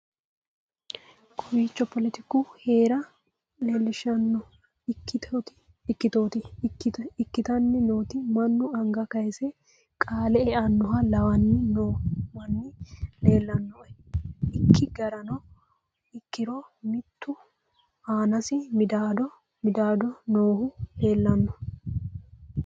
kowiicho poletiku heera leellishshanno ikkitooti ikkitanni nooti mannu anga kayisanni qaale eannoha lawanni noo manni lellannoe ikki garano ikkiro mittu insa midaado noohu leellanno